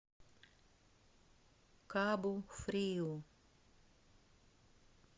кабу фриу